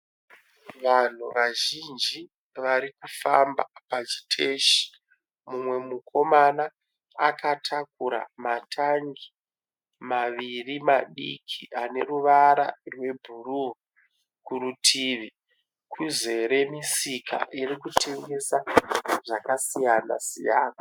Vanhu vazhinji vari kufamba pachiteshi mumwe mukomana akatakura matangi maviri madiki ane ruvara rwebhuruu kurutivi kuzere misika irikutengesa zvakasiyana siyana.